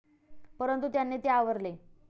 परंतू त्यांनी ते आवरले.